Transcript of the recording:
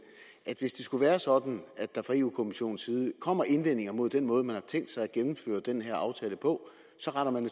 at hvis det skulle være sådan at der fra europa kommissionens side kommer indvendinger mod den måde man har tænkt sig at gennemføre den her aftale på så retter man